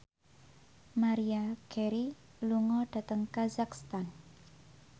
Maria Carey lunga dhateng kazakhstan